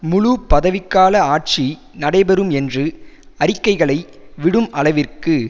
முழு பதவிக்கால ஆட்சி நடைபெறும் என்று அறிக்கைகளை விடும் அளவிற்கு